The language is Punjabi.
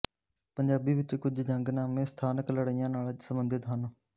ਪੰਜਾਬੀ ਵਿੱਚ ਕੁਝ ਜੰਗਨਾਮੇ ਸਥਾਨਕ ਲੜਾਈਆ ਨਾਲ ਸੰਬੰਧਿਤ ਹਨ